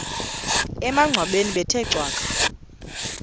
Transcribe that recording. emangcwabeni bethe cwaka